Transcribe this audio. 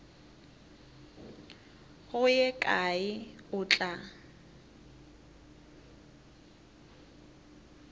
go ye kae o tla